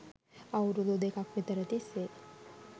අවුරුදු දෙකක් විතර තිස්සේ